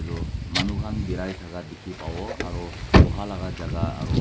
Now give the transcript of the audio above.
edu manu khan birai thaka dikhipawo aro boha laka jaka aro.